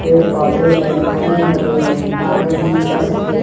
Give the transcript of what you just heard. पेड़-पौधे है हरे-भरे है बादल नीला सफ़ेद --